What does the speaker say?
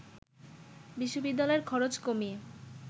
বিশ্ববিদ্যালয়ের খরচ কমিয়ে